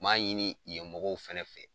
M'a ɲini ye mɔgɔw fɛnɛ fɛ